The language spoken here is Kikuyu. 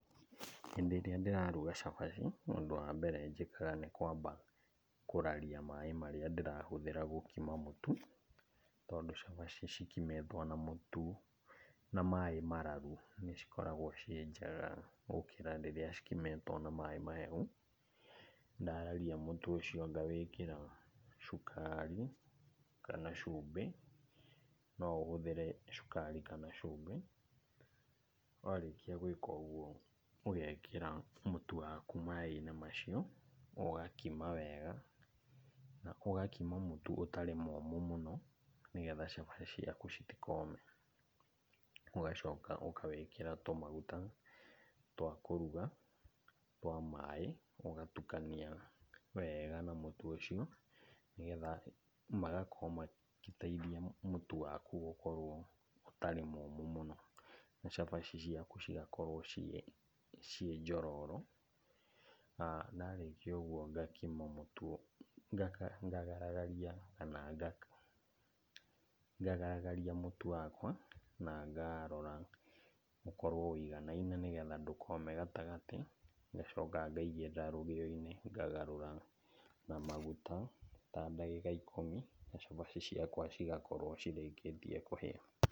Hĩndĩ ĩrĩa ndĩraruga cabaci, ũndũ wa mbere njĩkaga nĩ kwamba kũraria maĩ marĩa ndĩrahũthĩra gũkima mũtu. Tondũ cabaci cikimĩtwo na mũtu, na maĩ mararu nĩcikoragwo ciĩ njega gũkĩra rĩrĩa cikimĩtwo na maĩ mahehu. Ndararia mũtu ũcio ngawĩkĩra cukari kana cumbĩ, noũhũthĩre cukari kana cumbĩ. Warĩkia gwĩka ũguo, ũgekĩra mũtu waku maĩ-inĩ macio, ũgakima wega, na ũgakima mũtu ũtarĩ mũmũ mũno, nĩgetha cabaci ciaku citikome. Ugacoka ũkawĩkĩra tũmaguta twa kũruga, twa maĩ, ũgatukania wega na mũtu ũcio, nĩgetha magakorwo magĩteithia mũtu waku gũkorwo ũtarĩ mũmũ mũno. Na cabaci ciaku cigakorwo ciĩ, ciĩ njororo. Na ndarĩkia ũguo ngakima mũtu, ngaragaria kana ngaka, ngaragaria mũtu wakwa na ngarora ũkorwo ũiganaine nĩgetha ndũkome gatagatĩ, ngacoka ngaigĩrĩra rũgĩo-inĩ ngagarũra na maguta ta dagĩka ikũmi na cabaci ciakwa cigakorwo cirĩkĩtie kũhĩa.